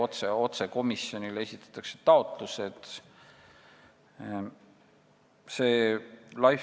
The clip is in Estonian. Taotlused esitatakse otse komisjonile.